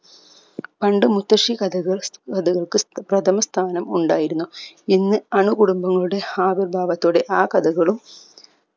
പണ്ടു മുത്തശി കഥകൾ കഥകൾക്ക് പ്രഥമ സ്ഥാനം ഉണ്ടായിരുന്നു ഇന്ന് അണുകുടുംബങ്ങളുടെ ആവിർഭാവത്തോടെ ആ കഥകളും